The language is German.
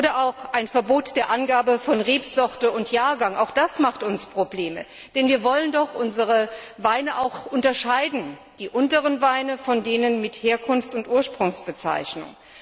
Oder ein Verbot der Angabe von Rebsorte und Jahrgang Auch das macht uns Probleme, denn wir wollen doch unsere Weine unterscheiden, die unteren Weine von denen mit Herkunfts und Ursprungsbezeichnung.